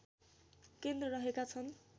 केन्द्र रहेका छन्